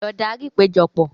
Lọ darí ìpéjọpọ̀!